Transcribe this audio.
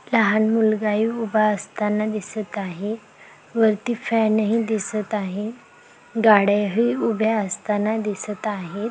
लहान मुलगा ही उभा असतांना दिसत आहे. वरती फॅन ही दिसत आहे. गाड्या ही उभ्या असताना दिसत आहे.